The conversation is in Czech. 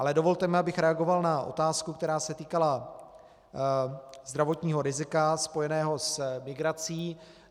Ale dovolte mi, abych reagoval na otázku, která se týkala zdravotního rizika spojeného s migrací.